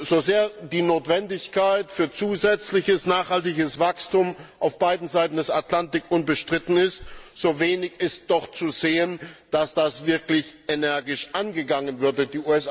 So sehr die Notwendigkeit für zusätzliches nachhaltiges Wachstum auf beiden Seiten des Atlantiks unbestritten ist, so wenig ist doch zu sehen, dass das wirklich energisch angegangen würde.